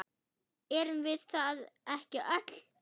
Erum við það ekki öll?